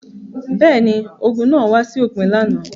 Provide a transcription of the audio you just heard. Bẹ́ẹ̀ ni, ogun náà wá sí òpin lánàá.